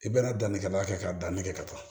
I bɛna danni kɛ da la kɛ ka dan nege ka taa